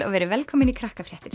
verið velkomin í